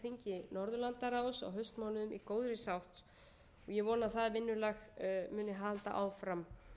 þingi norðurlandaráðs á haustmánuðum í góðri sátt og ég vona að það vinnulag muni halda áfram